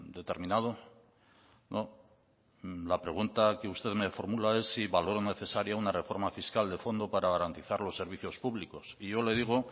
determinado no la pregunta que usted me formula es si valoro necesaria una reforma fiscal de fondo para garantizar los servicios públicos y yo le digo